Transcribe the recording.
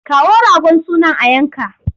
Kawo ragon sunan a yanka!